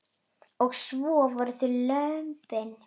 Og svo voru það lömbin.